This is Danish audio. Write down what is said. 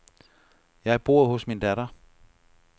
Jeg bor hos min datter.